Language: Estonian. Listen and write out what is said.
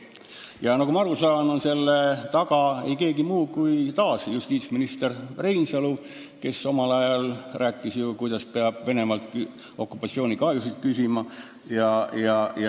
Ja nagu ma aru saan, pole selle taga ei keegi muu kui taas justiitsminister Reinsalu, kes mõni aeg tagasi rääkis, et peab Venemaalt okupatsioonikahjude hüvitamist küsima.